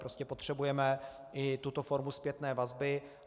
Prostě potřebujeme i tuto formu zpětné vazby.